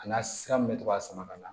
A n'a sira min bɛ to ka sama ka na